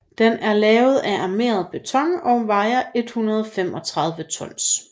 Den er lavet af armeret beton og vejer 135 tons